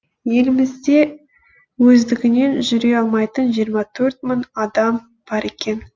елімізде өздігінен жүре алмайтын жиырма төрт мың адам бар екен